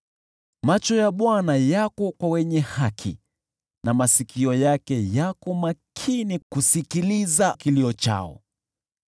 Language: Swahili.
Macho ya Bwana huwaelekea wenye haki, na masikio yake yako makini kusikiliza kilio chao.